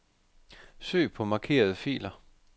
Søg på markerede filer.